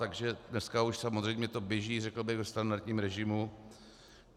Takže dneska už samozřejmě to běží, řekl bych, ve standardním režimu.